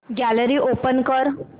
gallery open कर